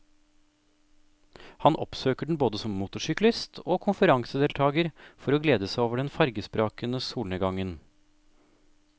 Han oppsøker den både som motorsyklist og konferansedeltager for å glede seg over den farvesprakende solnedgangen.